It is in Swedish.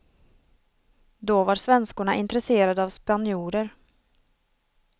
Då var svenskorna intresserade av spanjorer.